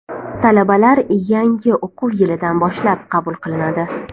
Talabalar yangi o‘quv yilidan boshlab qabul qilinadi.